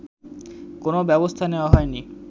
কোনো ব্যবস্থা নেয়া হয়নি